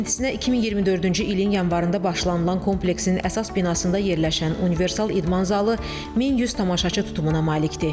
Tikintisinə 2024-cü ilin yanvarında başlanılan kompleksin əsas binasında yerləşən universal idman zalı 1100 tamaşaçı tutumuna malikdir.